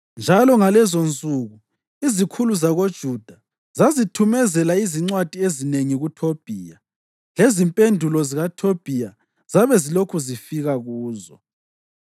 Njalo, ngalezonsuku izikhulu zakoJuda zazithumezela izincwadi ezinengi kuThobhiya, lezimpendulo zikaThobhiya zabe zilokhu zifika kuzo.